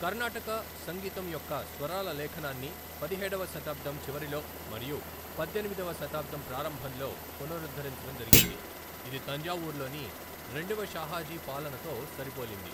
కర్ణాటక సంగీతం యొక్క స్వరాల లేఖనాన్ని పదిహేడవ శతాబ్దం చివరిలో మరియు పద్దెనిమిదవ శతాబ్దం ప్రారంభంలో పునరుద్ధరించడం జరిగింది, ఇది తంజావూర్లోని రెండవ షాహాజీ పాలనతో సరిపోలింది.